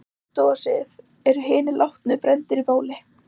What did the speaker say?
Í hindúasið eru hinir látnu brenndir á báli.